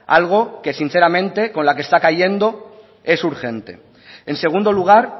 algo que sinceramente con la que está cayendo es urgente en segundo lugar